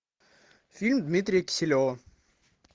фильм дмитрия киселева